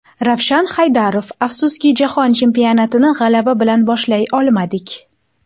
Ravshan Haydarov: Afsuski, Jahon chempionatini g‘alaba bilan boshlay olmadik.